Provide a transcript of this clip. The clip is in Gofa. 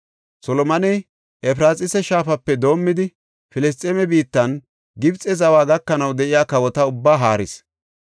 Solomoney Efraxiisa shaafape doomidi, Filisxeeme biittanne Gibxe zawa gakanaw de7iya kawota ubbaa haaris.